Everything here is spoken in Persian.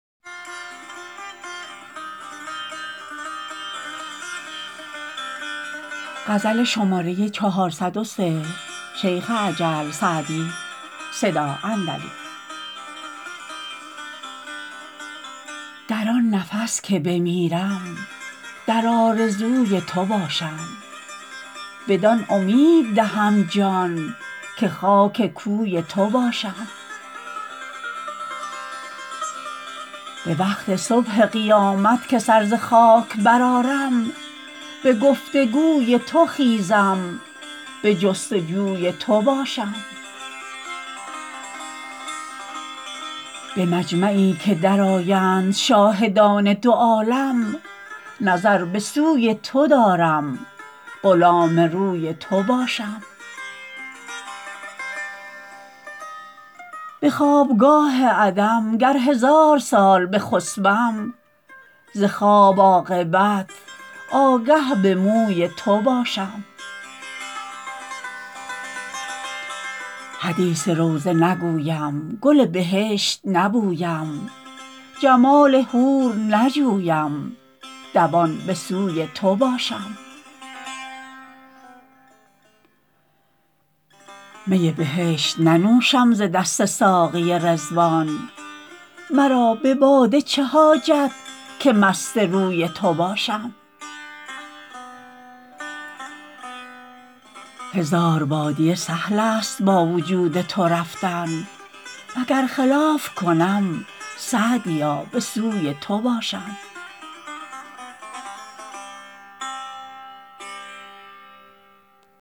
در آن نفس که بمیرم در آرزوی تو باشم بدان امید دهم جان که خاک کوی تو باشم به وقت صبح قیامت که سر ز خاک برآرم به گفت و گوی تو خیزم به جست و جوی تو باشم به مجمعی که درآیند شاهدان دو عالم نظر به سوی تو دارم غلام روی تو باشم به خوابگاه عدم گر هزار سال بخسبم ز خواب عاقبت آگه به بوی موی تو باشم حدیث روضه نگویم گل بهشت نبویم جمال حور نجویم دوان به سوی تو باشم می بهشت ننوشم ز دست ساقی رضوان مرا به باده چه حاجت که مست روی تو باشم هزار بادیه سهل است با وجود تو رفتن و گر خلاف کنم سعدیا به سوی تو باشم